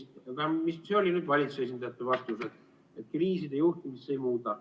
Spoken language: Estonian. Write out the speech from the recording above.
Tähendab, see oli nüüd valitsuse esindajate vastus, et kriiside juhtimist see ei muuda.